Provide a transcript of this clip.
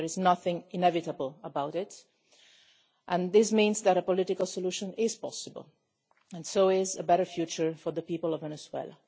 There is nothing inevitable about it and this means that a political solution is possible and so is a better future for the people of Venezuela.